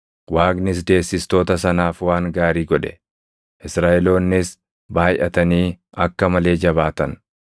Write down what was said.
Waaqnis deessistoota sanaaf waan gaarii godhe; Israaʼeloonnis baayʼatanii akka malee jabaatan.